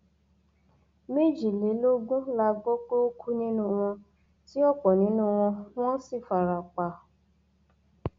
méjìlélógún la gbọ pé ó kú nínú wọn tí ọpọ nínú wọn wọn sì fara pa